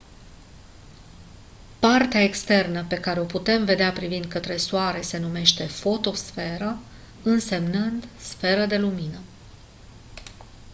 partea externă pe care o putem vedea privind către soare se numește fotosferă însemnând «sferă de lumină».